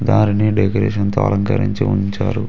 దారిని డెకొరేషన్ తో అలంకరించి ఉంచారు.